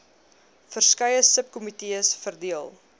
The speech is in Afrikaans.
verskeie subkomitees verdeel